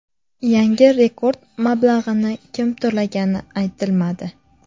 Yangi rekord mablag‘ni kim to‘lagani aytilmadi.